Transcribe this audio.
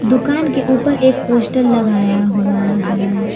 दुकान के ऊपर एक पोस्टर लगाया हुआ हैं।